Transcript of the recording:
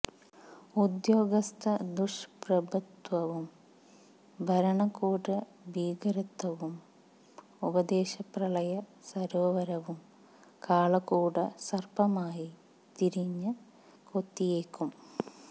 ഉദ്യോഗസ്ഥദുഷ്പ്രഭുത്വവും ഭരണ കൂട ഭീകരതയും ഉപദേശ പ്രളയ സാരോവരവും കാളകൂട സർപ്പമായി തിരിഞ്ഞ് കൊത്തിയേക്കും